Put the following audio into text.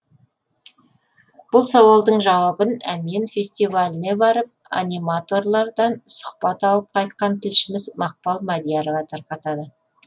бұл сауалдың жауабын әмен фестиваліне барып аниматорлардан сұхбат алып қайтқан тілшіміз мақпал мадиярова тарқатады